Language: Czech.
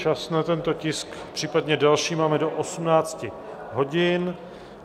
Čas na tento tisk, případně další, máme do 18 hodin.